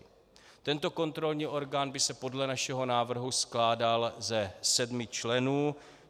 Tento kontrolní orgán by se podle našeho návrhu skládal ze sedmi členů.